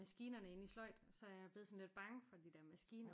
Maskinerne inde i sløjd og så er jeg blevet sådan lidt bange for de der maskiner